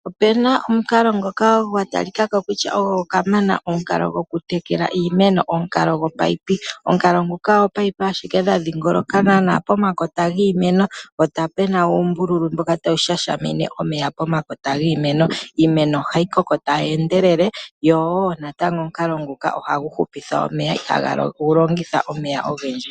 Opena omukalo ngoka gwatalikako kutya ogo kamana gokutekela iimeno omukalo gopayipi. Omukalo nguka oopayipi ashike dha dhingoloka nana pomakota giimeno po pena uumbulu mboka tawu shashamine omeya pomakota giimeno. Iimeno ohayi koko tayi endelele yowoo omukalo nguka ohagu upitha omeya ihagu longitha omeya ogendji.